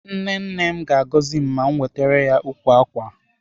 Nne nne m ga-agọzi m ma m wetere ya ukwu ákwà a.